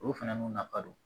Olu fana n'u na kadon